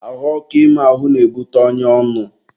ahụ ọkụ ime ahụ na-ebute ọnya ọnụ.